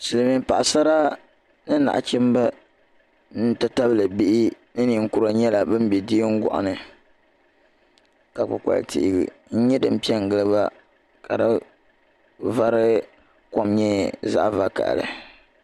Silimiin Paɣasara ni nachimba n ti tabili bihi ni ninkuri nyɛla ban be diɛngoɣu ni ka kpikpali'tia nyɛ din piɛ n gili ba ka di vari kom nyɛ zaɣa vakahali.